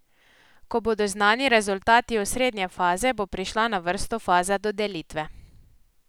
Ko bodo znani rezultati osrednje faze, bo prišla na vrsto faza dodelitve.